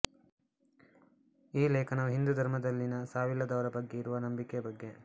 ಈ ಲೇಖನವು ಹಿಂದೂ ಧರ್ಮದಲ್ಲಿನ ಸಾವಿಲ್ಲದವರ ಬಗ್ಗೆ ಇರುವ ನಂಬಿಕೆಯ ಬಗ್ಗೆ